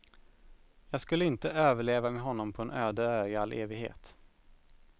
Jag skulle inte överleva med honom på en öde ö i all evighet.